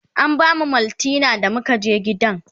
an bamu maltina da muka je gidan